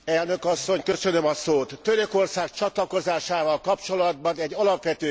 Törökország csatlakozásával kapcsolatban egy alapvető kérdést kell tisztáznunk.